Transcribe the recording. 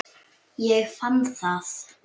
Ég fann það!